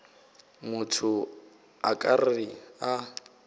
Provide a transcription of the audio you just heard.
motho a ka re a